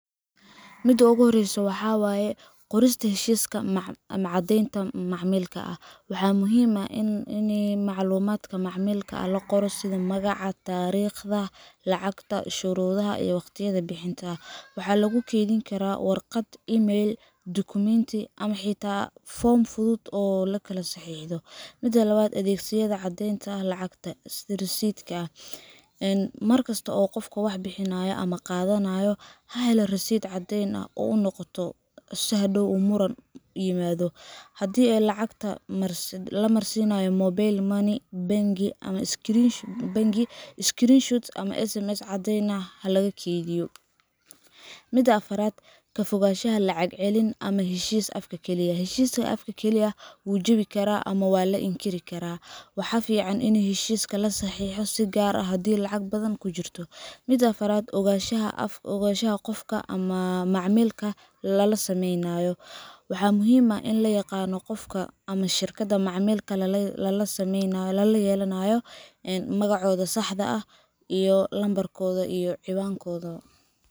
Mida ogu horeyso waxa waye. Qorista Heshiiska ama Caddeynta Macamilka Waxaa muhiim ah in macluumaadka macamilka la qoro sidi Magaca taariikhda, lacagta, shuruudaha, iyo waqtiyada bixinta. Waxaa lagu keydiyaa warqad, email, dukumeenti ama xitaa foom fudud oo la kala saxiixdo. Mida labad waa. Adeegsiga Caddeynta Lacagta sidi [cs[Receipt Mar kasta qofka wax bixinaya ama qaadanaya ha helo risid, si caddeyn u noqoto haddii muran yimaado. Haddii lacagta la marsiiyo mobile money ama bangi, screenshot ama SMS caddeyn ah ha la kaydiyo. mida sedexad Ka fogaanshaha lacag-celin ama heshiis afka kaliya ah Heshiis afka ah wuu jabin karaa ama la inkiri karaa. Waxaa fiican in heshiiska la saxiixo, si gaar ah haddii lacag badan ku jirto. Mida afaraad. Ogaanshaha qofka aad macamilka la sameynayso Waxa muhiim in la yaqaan qofka ama shirkadda macamilka lala leeyahay: magaca saxda ah, lambarkoda cinwaankoda.